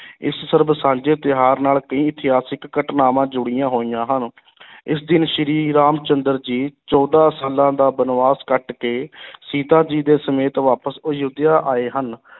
ਇਸ ਸਰਬ-ਸਾਂਝੇ ਤਿਉਹਾਰ ਨਾਲ ਕਈ ਇਤਿਹਾਸਿਕ ਘਟਨਾਵਾਂ ਜੁੜੀਆਂ ਹੋਈਆਂ ਹਨ ਇਸ ਦਿਨ ਸ੍ਰੀ ਰਾਮ ਚੰਦਰ ਜੀ ਚੌਦਾਂ ਸਾਲਾਂ ਦਾ ਬਣਵਾਸ ਕੱਟ ਕੇ ਸੀਤਾ ਜੀ ਦੇ ਸਮੇਤ ਵਾਪਸ ਅਯੋਧਿਆ ਆਏ ਹਨ।